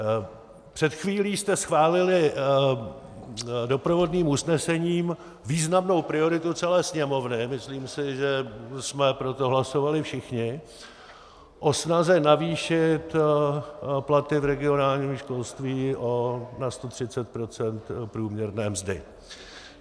Před chvílí jste schválili doprovodným usnesením významnou prioritu celé Sněmovny, myslím si, že jsme pro to hlasovali všichni, o snaze navýšit platy v regionálním školství na 130 % průměrné mzdy.